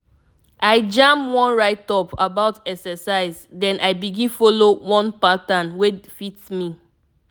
i jam one write-up about exercise then i begin follow one pattern wey fit me.